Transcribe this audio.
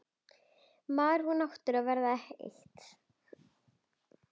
Maður og náttúra verða eitt.